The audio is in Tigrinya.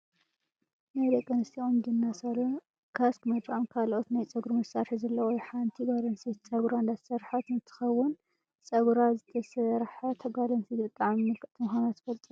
ናይ ደቂ ኣንስትዮ ቁንጅና ሳሎን ካስክ መድረቅን ካልኦትን ናይ ፀጉሩ መሳሪሒ ዘለዎ እዩ። ሓንቲ ጓል ኣንስተይቲ ፀጉራ እንዳተሰረሓት እንትከውን፣ ፀጉራ ዝተሰረሓት ጓል ኣንስተይቲ ብጣዕሚ ምልክዕቲ ምኳና ትፈልጡ ዶ?